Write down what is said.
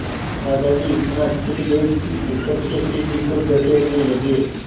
दादाजी इतना चिढ़ गए कि ऊपर से सीढ़ी को धकेलने लगे